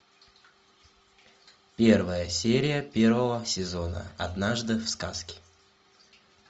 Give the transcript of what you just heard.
первая серия первого сезона однажды в сказке